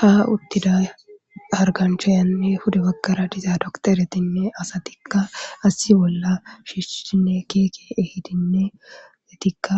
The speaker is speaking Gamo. Ha uuttidda hargganchchayanne pude baggara uuttida docterettinne asatikka issi bolla shiishshinne giigi eehidinne eetikka